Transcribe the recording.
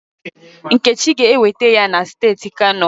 Nkechi ga-ewete ya na steeti Kano.